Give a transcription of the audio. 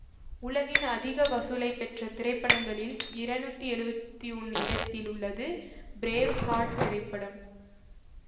உலகின் அதிக வசூலைப் பெற்ற திரைப்படங்களில் இருநூத்தி எழுவத்தி ஒன்னு இடத்தில் உள்ளது பிரேவ் ஹார்ட் திரைப்படம்